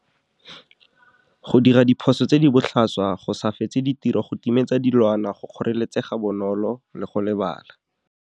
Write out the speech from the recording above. Go dira diphoso tse di botlhaswa go sa fetse ditiro go timetsa dilwana go kgoreletsega bonolo le go lebala.